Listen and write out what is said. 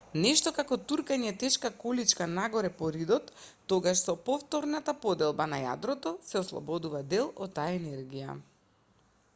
нешто како туркање тешка количка нагоре по ридот тогаш со повторната поделба на јадрото се ослободува дел од таа енергија